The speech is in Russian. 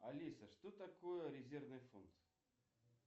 алиса что такое резервный фонд